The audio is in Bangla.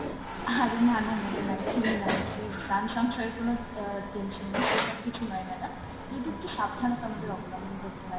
আরে না না madam একদমই না, এটা তে প্রান সংশয়ের কোনো আহ tension নেই সেসব কিছু নয় madam, যদিও একটু সাবধানতা আমাদের অবলম্বন করতে হয় madam।